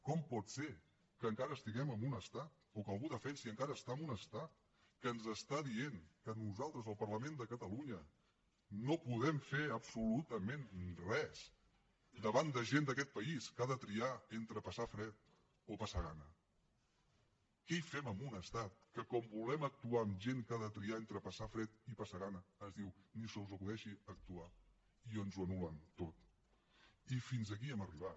com pot ser que encara estiguem en un estat o que algú defensi encara estar en un estat que ens està dient que nosaltres el parlament de catalunya no podem fer absolutament res davant de gent d’aquest país que ha de triar entre passar fred o passar gana què hi fem en un estat que quan volem actuar en gent que ha de triar entre passar fred i passar gana ens diu ni se us acudeixi actuar i ens ho anul·len tot i fins aquí hem arribat